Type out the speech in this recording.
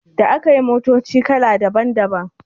Da akai motoci kala daban daban